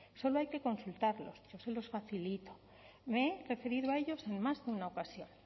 solo hay que consultarlos yo se los facilito me he referido a ellos en más de una ocasión